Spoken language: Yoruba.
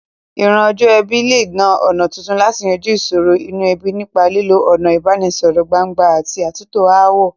Ìran ọjọ́ ọ̀la lè lo ọ̀nà tuntun láti yanjú ìsòro inú ebí, nípa lílo ọ̀nà ìbánisọ̀rọ̀ gbangba àti àtúntò ááwọ̀.